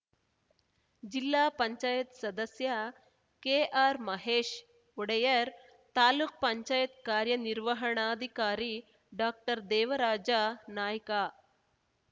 ಜಿಲ್ಲಾಪಂಚಾಯತಿ ಸದಸ್ಯ ಕೆಆರ್‌ ಮಹೇಶ್‌ ಒಡೆಯರ್‌ ತಾಲೂಕುಪಂಚಾಯತಿ ಕಾರ್ಯನಿರ್ವಹಣಾಧಿಕಾರಿ ಡಾಕ್ಟರ್ದೇವರಾಜ ನಾಯ್ಕ